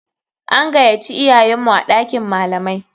An gayaci iyayenmu a ɗakin malamai.